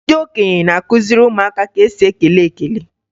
Ndị okenye na-akụziri ụmụaka ka e si ekele ekele